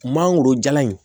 Mangoro jalan in